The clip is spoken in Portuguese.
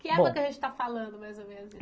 Que época que a gente está falando, mais ou menos?